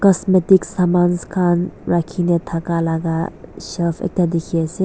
cosmetic samans khan rakhina thaka laga shelf ekta dekhe ase.